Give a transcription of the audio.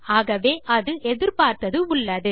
ஆகவே அது எதிர்பார்த்தது உள்ளது